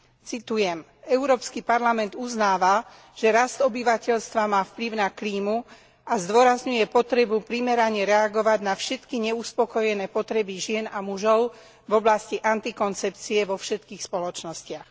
Citujem Európsky parlament uznáva, že rast obyvateľstva má vplyv na klímu a zdôrazňuje potrebu primerane reagovať na všetky neuspokojené potreby žien a mužov v oblasti antikoncepcie vo všetkých spoločnostiach.